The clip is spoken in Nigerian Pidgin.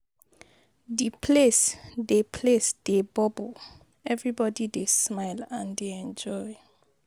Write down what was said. Di place dey place dey bubble, everybody dey smile and dey enjoy.